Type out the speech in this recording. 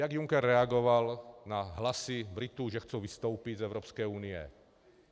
Jak Juncker reagoval na hlasy Britů, že chtějí vystoupit z Evropské unie?